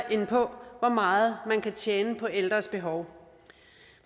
end på hvor meget man kan tjene på ældres behov